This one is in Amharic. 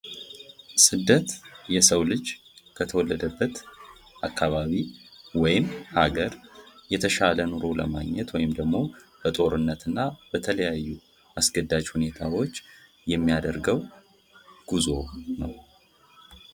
ጉዞ አዳዲስ ቦታዎችን ለመዳሰስ ሲሆን ቱሪዝም ለመዝናናትና ለመማር የሚደረግ እንቅስቃሴ ነው። ስደት ደግሞ የተሻለ ኑሮ ፍለጋ ወይም ከአደጋ ለመዳን የሚደረግ የቦታ ለውጥ ነው።